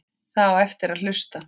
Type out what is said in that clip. Það á eftir að hlusta.